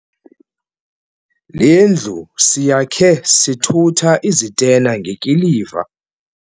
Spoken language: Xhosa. Le ndlu siyakhe sithutha izitena ngekiliva.